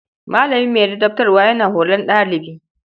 Malami mai ladabtarwa yana horon ɗalibi.